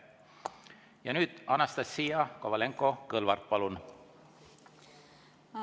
Ja nüüd Anastassia Kovalenko-Kõlvart, palun!